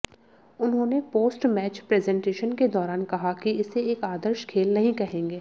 उन्होंने post match presentation के दौरान कहा कि इसे एक आदर्श खेल नहीं कहेंगे